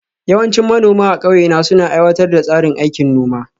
Yawancin manoma a ƙauye na suna aiwatar da tsarin aikin noma